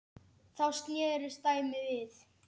Þá snerist dæmið við.